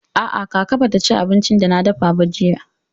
A'a, kaka ba ta ci abincin da na dafa ba jiya.